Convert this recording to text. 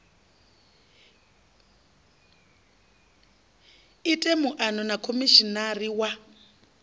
ite muano na khomishinari wa